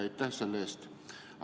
Aitäh selle eest!